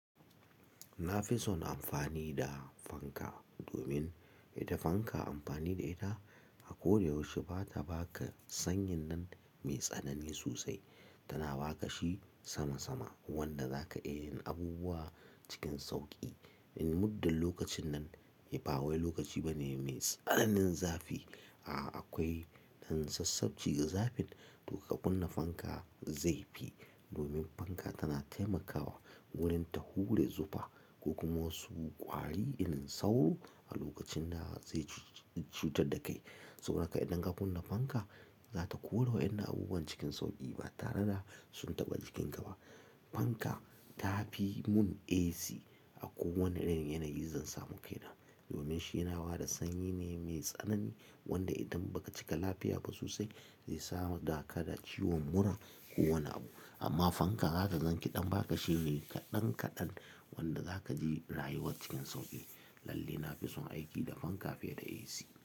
Na fi son amfani da fanka domin ita fanka amfani da ita a koda yaushe ba ta ba ka sanyin nan mai tsanani sosai, tana ba ka shi sama sama. Wanda za ka iya yin abubuwa cikin sauƙi. In muddin lokacin nan, ba wai lokaci bane mai tsananin zafi. A'a akwai dan sassafci ga zafin to ka kunna fanka zai fi, domin fanka tana taimakawa wurin ta hure zufa. Ko kuma wasu ƙwari inin sauro a lokacin da zai cutar da kai. Saboda haka idan ka kunna fanka za ta kore wa 'yannan abubuwan cikin sauƙi ba tare da sun taɓa jikin ka ba. Fanka ta fi mun AC a kowane irin yanayin zan samu kai na. Domin shi ya na bada sanyi ne mai tsanani wanda idan ba ka cika lafiya ba sosai zai sa da ka da ciwon mura ko wani abu. Amma fanka za ka zan kiɗan ba ka shi ne kaɗan kaɗan wanda za ka ji rayuwar cikin sauƙi. Lalle na fi son aiki da fanka fiye da AC.